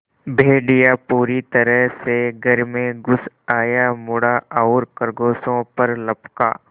भेड़िया पूरी तरह से घर में घुस आया मुड़ा और खरगोशों पर लपका